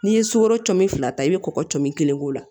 N'i ye sukoro cami fila ta i bɛ kɔkɔ cɔnin kelen k'o la